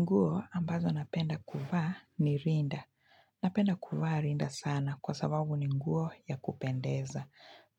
Nguo ambazo napenda kuvaa ni rinda. Napenda kufa rinda sana kwa sababu ni nguo ya kupendeza.